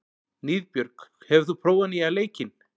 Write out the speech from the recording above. Niðbjörg, hefur þú prófað nýja leikinn?